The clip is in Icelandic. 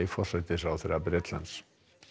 forsætisráðherra Bretlands